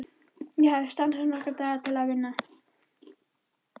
Ég hafði stansað nokkra daga til að vinna.